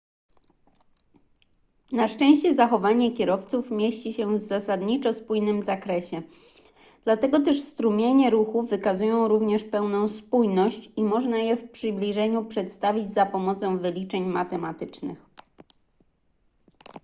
na szczęście zachowanie kierowców mieści się w zasadniczo spójnym zakresie dlatego też strumienie ruchu wykazują również pewną spójność i można je w przybliżeniu przedstawić za pomocą wyliczeń matematycznych